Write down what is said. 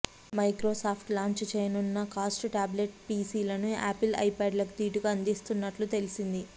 Microsoft launch చేయనున్న low cost tablet PC లను Apple iPad లకు దీటుగా అందించనున్నట్టు తెలిసింది